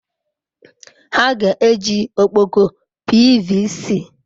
Ha ga-eji ọkpọkọ PVC?